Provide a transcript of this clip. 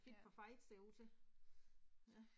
Ja. Ja